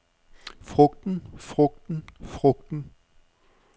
frugten frugten frugten